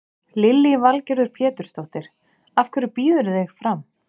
Lillý Valgerður Pétursdóttir: Af hverju býðurðu þig fram?